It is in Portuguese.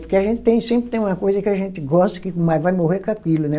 Porque a gente tem, sempre tem uma coisa que a gente gosta, mas vai morrer com aquilo, né?